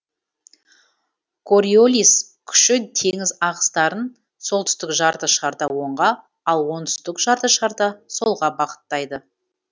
кориолис күші теңіз ағыстарын солтүстік жарты шарда оңға ал оңтүстік жарты шарда солға бағыттайды